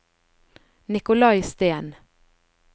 Nikolai Steen